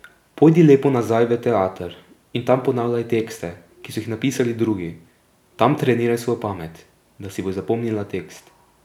Pojdi lepo nazaj v teater in tam ponavljaj tekste, ki so jih napisali drugi, tam treniraj svojo pamet, da si boš zapomnila tekst.